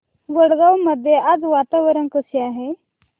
वडगाव मध्ये आज वातावरण कसे आहे